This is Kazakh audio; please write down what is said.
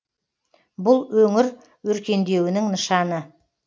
бұл өңір өркендеуінің нышаны